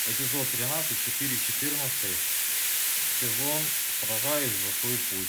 эпизод тринадцать четыре четырнадцатый сезон сражаюсь за свой путь